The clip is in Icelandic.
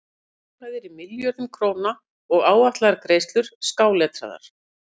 Allar fjárhæðir í milljörðum króna og áætlaðar greiðslur skáletraðar.